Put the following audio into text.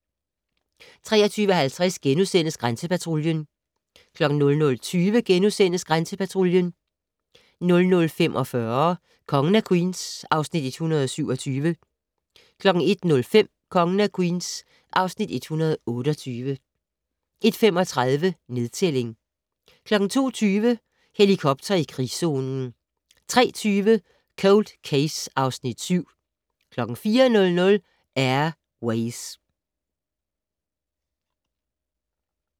23:50: Grænsepatruljen * 00:20: Grænsepatruljen * 00:45: Kongen af Queens (Afs. 127) 01:05: Kongen af Queens (Afs. 128) 01:35: Nedtælling 02:20: Helikopter i krigszonen 03:20: Cold Case (Afs. 7) 04:00: Air Ways